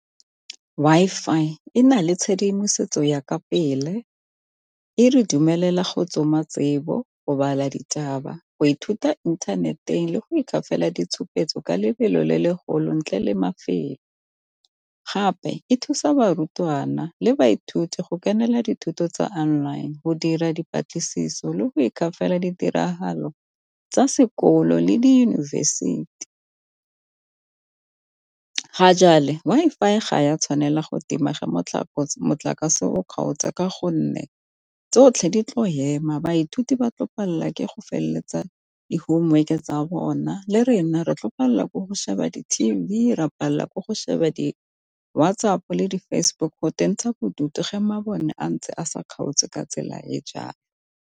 Wi-Fi e na le tshedimosetso ya ka pele, e re dumelela go tsoma tsebo, mo go bala ditaba, go ithuta inthaneteng, le go itshoka fela ditshupetso ka lebelo le le golang ntle le mafelo. Gape e thusa barutwana le baithuti go kenela dithuto tsa online, go dira dipatlisiso, le go ditiragalo tsa sekolo le di university. Ga Wi-Fi ga ya tshwanela go tima ge motlakase o kgaotse ka gonne tsotlhe di tlo ema, baithuti ba tlo palelwa ke go feleletsa di-homework-e tsa bona le rena re tlo palela ko go sheba di T_V, ra palelwa ke go sheba di WhatsApp, le di-Facebook go bodutu ge mabone a ntse a sa kgaotse ka tsela ya jang.